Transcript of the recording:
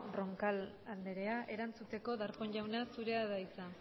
roncal andrea erantzuteko darpón jauna zurea da hitza